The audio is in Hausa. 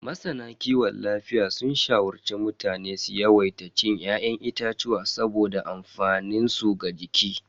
Masana kiwon lafiya sun shawarci mutane su yawaita cin ya'yan itatuwa saboda amfaninsu ga jiki.